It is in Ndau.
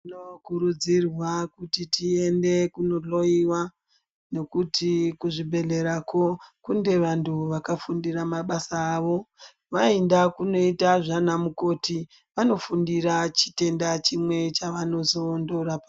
Tino kurudzirwa kuti tiende kuno hloiwa nekuti kuzvi bhedhlerako kune vantu vakafundira mabasa avo. Vaenda kunoita zvana mukoti vanofundira chitenda chimwe chevano zondorapa.